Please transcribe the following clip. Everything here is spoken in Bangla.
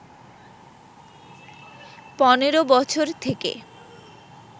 ১৫ বছর থেকে